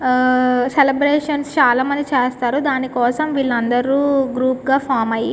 ఆ సెలబ్రేషన్స్ చాలామంది చేస్తారు దాని కోసం వీళ్లందరు గ్రూప్ గా ఫామ్ అయ్యి --